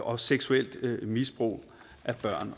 og seksuelt misbrug af børn